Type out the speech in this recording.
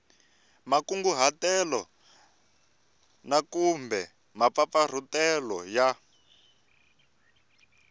makunguhatelo na kumbe mampfampfarhutelo ya